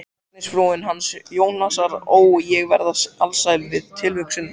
Læknisfrúin hans Jónasar, ó, ég verð alsæl við tilhugsunina